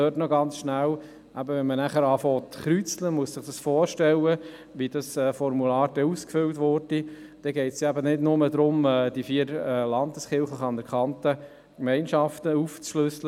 Dazu noch Folgendes: Wenn man das per Kreuze erheben will, je nachdem wie ein entsprechendes Formular aussehen würde, geht es ja eben nicht darum, dies nur nach den vier anerkannten Gemeinschaften aufzuschlüsseln.